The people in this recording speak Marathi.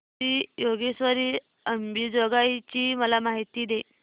श्री योगेश्वरी अंबेजोगाई ची मला माहिती दे